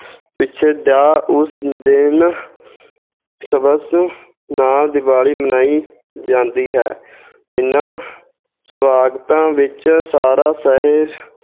ਉਸ ਦਿਨ ਸਬੱਬ ਨਾਲ ਦਿਵਾਲੀ ਮਨਾਈ ਜਾਂਦੀ ਹੈ ਇਹਨਾਂ ਸਵਾਗਤਾਂ ਵਿੱਚ ਸਾਰਾ ਸ਼ਹਿਰ